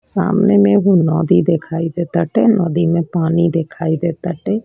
सामने मे वो नदी दिखाई दे बाटे नदी में पानी दिखाई दे बाटे।